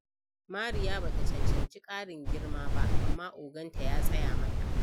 Mariya ba ta cancanci ƙarin girma ba, amma oganta ya tsaya mata.